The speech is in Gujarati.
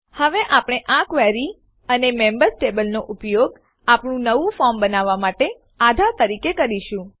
હવે આપણે આ ક્વેરી અને મેમ્બર્સ ટેબલનો ઉપયોગ આપણું નવું ફોર્મ બનાવવા માટે આધાર તરીકે કરીશું